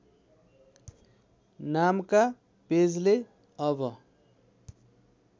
नामका पेजले अब